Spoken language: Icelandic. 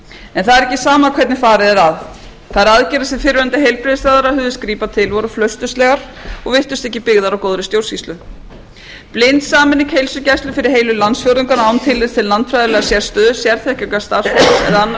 en það er ekki sama hvernig farið er að þær aðgerðir sem fyrrverandi heilbrigðisráðherra hugðist grípa til voru flausturslegar og virtust ekki byggðar á góðri stjórnsýslu blind sameining heilsugæslu fyrir heilu landsfjórðungana án tillits til landfræðilegrar sérstöðu sérþekkingar starfsfólks eða annarra